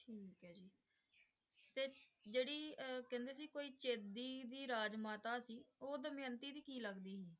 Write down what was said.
ਜਿਹੜੀ ਅਹ ਕਹਿੰਦੇ ਸੀ ਕੋਈ ਚੇਦੀ ਦੀ ਰਾਜ ਮਾਤਾ ਸੀ ਉਹ ਦਮਿਅੰਤੀ ਦੀ ਕੀ ਲੱਗਦੀ ਸੀ?